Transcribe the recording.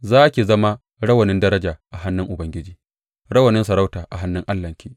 Za ki zama rawanin daraja a hannun Ubangiji, rawanin sarauta a hannun Allahnki.